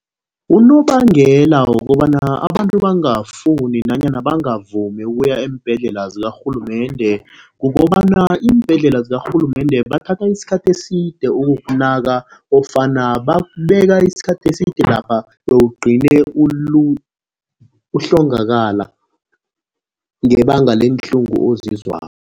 Unobangela wokobana abantu bangafuni nanyana bangavumi ukuya eembhedlela zikarhulumende kukobana, iimbhedlela zakarhulumende bathatha isikhathi eside ukukunaka ofana bakubeka isikhathi eside lapha bewugcine uhlongakala ngebanga leenhlungu ozizwako.